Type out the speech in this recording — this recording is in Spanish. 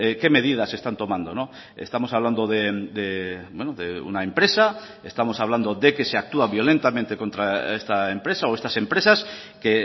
qué medidas están tomando estamos hablando de una empresa estamos hablando de que se actúa violentamente contra esta empresa o estas empresas que